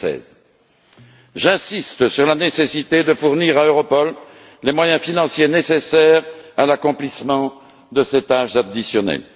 2016. J'insiste sur la nécessité de fournir à Europol les moyens financiers nécessaires à l'accomplissement de ces tâches additionnelles.